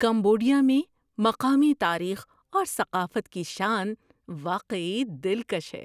Cambodia میں مقامی تاریخ اور ثقافت کی شان واقعی دلکش ہے۔